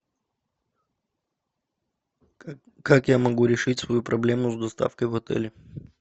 как я могу решить свою проблему с доставкой в отеле